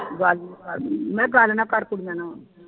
ਗੱਲ ਨਾ ਕਰ ਮੈਂ ਗੱਲ ਨਾ ਕਰ ਕੁੜੀਆਂ ਨਾਲ